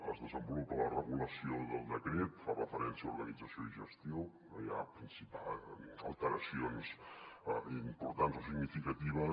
es desenvolupa la regulació del decret fa referència a organització i gestió no hi ha alteracions importants o significatives